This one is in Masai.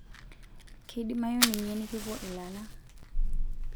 Keidimayu ninye nikipuo ilala.